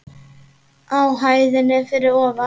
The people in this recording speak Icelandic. Á hæðinni fyrir ofan.